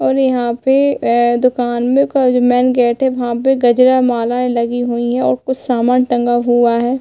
और यहाँ पे अ दुकान में का जो मेन गेट है वहाँ पे गजरा मालाएं लगी हुई है और कुछ समान टंगा हुआ है।